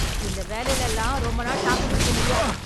இந்த வேலையில எல்லாம் ரொம்ப நாள் தாக்கு பிடிக்க முடியாது.